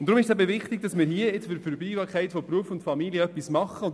Es ist wichtig, dass wir für die Vereinbarkeit von Beruf und Familie etwas machen.